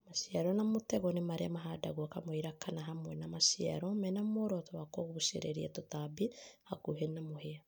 Maciaro ma mũtego nĩ maria mahandagwo kamũira kana hamwe na na maciaro mena mworoto wa kũgucĩrĩria tũtambi hakuhĩ na mũthia